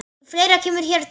Fleira kemur hér til.